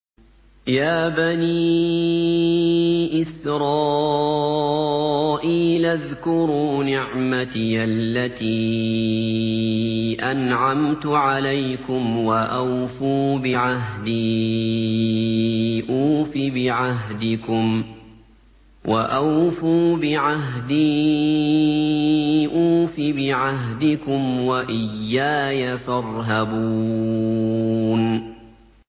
يَا بَنِي إِسْرَائِيلَ اذْكُرُوا نِعْمَتِيَ الَّتِي أَنْعَمْتُ عَلَيْكُمْ وَأَوْفُوا بِعَهْدِي أُوفِ بِعَهْدِكُمْ وَإِيَّايَ فَارْهَبُونِ